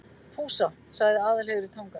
Fúsa, sagði Aðalheiður í Tanga.